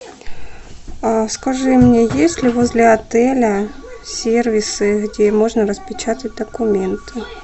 скажи мне есть ли возле отеля сервисы где можно распечатать документы